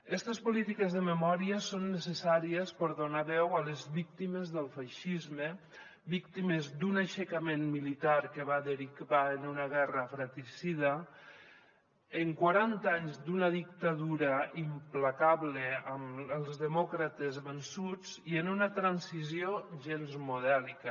estes polítiques de memòria són necessàries per donar veu a les víctimes del feixisme víctimes d’un aixecament militar que va derivar en una guerra fratricida en quaranta anys d’una dictadura implacable amb els demòcrates vençuts i en una transició gens modèlica